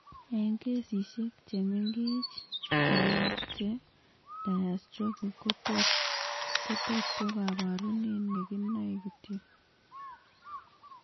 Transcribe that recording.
Eng' kesisiek chemeng'ek siook che diastrophic kotot ko kaborunet nekinoe kityok